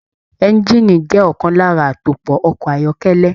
Engiini jẹ ọkan lára atopọ̀ ọkọ ayọkẹlẹ.